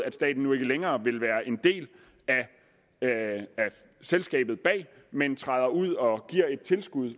at staten nu ikke længere vil være en del af selskabet bag men træder ud og giver et tilskud